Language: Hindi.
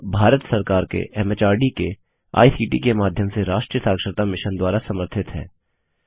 यह भारत सरकार के एमएचआरडी के आईसीटी के माध्यम से राष्ट्रीय साक्षरता मिशन द्वारा समर्थित है